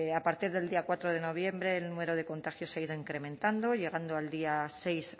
a partir del día cuatro de noviembre el número de contactos se ha ido incrementando llegando al día seis